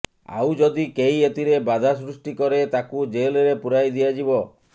ଆଉ ଯଦି କେହି ଏଥିରେ ବାଧାସୃଷ୍ଟି କରେ ତାକୁ ଜେଲରେ ପୁରାଇ ଦିଆଯିବ